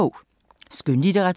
Skønlitteratur